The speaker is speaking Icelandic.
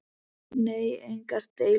Nei, engar deilur.